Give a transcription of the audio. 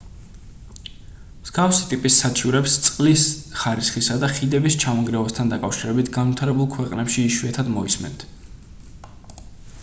მსგავსი ტიპის საჩივრებს წყლის ხარისხისა და ხიდების ჩამონგრევასთან დაკავშირებით განვითარებულ ქვეყნებში იშვიათად მოისმენთ